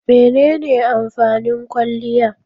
Mene ne amfanin kwaliya?